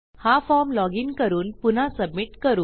हा form login करून पुन्हा सबमिट करू